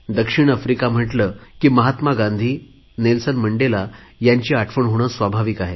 दक्षिण आफ्रिका म्हटले की महात्मा गांधी नेल्सन मंडेला यांची आठवण होणे स्वाभाविकच आहे